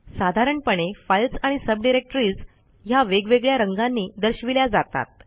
साधारणपणे फाईल्स आणि सबडिरेक्टरीज ह्या वेगवेगळ्या रंगांनी दर्शविल्या जातात